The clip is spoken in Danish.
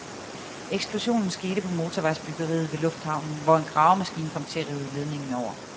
Eksplosionen skete på motorvejsbyggeriet ved lufthavnen, hvor en gravemaskine kom til at rive ledningen over.